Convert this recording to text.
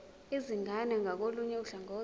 izingane ngakolunye uhlangothi